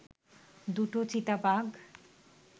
দুটো চিতাবাঘ